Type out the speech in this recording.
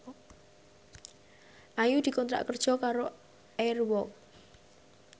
Ayu dikontrak kerja karo Air Walk